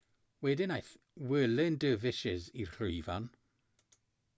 wedyn aeth whirling dervishes i'r llwyfan